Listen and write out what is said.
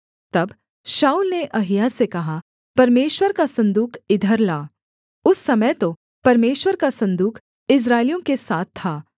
तब शाऊल ने अहिय्याह से कहा परमेश्वर का सन्दूक इधर ला उस समय तो परमेश्वर का सन्दूक इस्राएलियों के साथ था